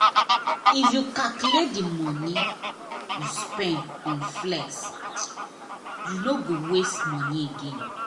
if you calculate the money you spend on flex you no go waste money again